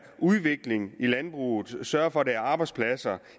udvikling i landbruget og sørge for at der er arbejdspladser